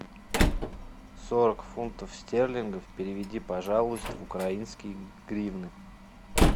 сорок фунтов стерлингов переведи пожалуйста в украинские гривны